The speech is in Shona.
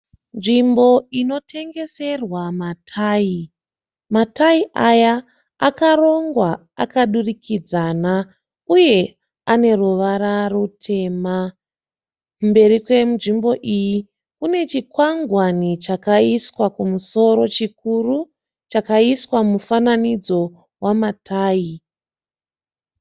Nzvimbo inotengeserwa matayi. Matayi aya akarongwa akadurikidzana uye ane ruvara rutema. Mberi kwenzvimbo iyi kune chikwangwani chakaiswa kumusoro chikuru. Chakaiswa mufananidzo wamatayi.